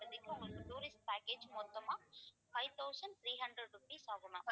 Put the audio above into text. உங்களுக்கு tourist package மொத்தமா five thousand three hundred rupees ஆகும் ma'am